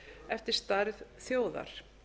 eftir stærð þjóðar